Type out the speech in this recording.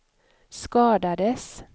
skadades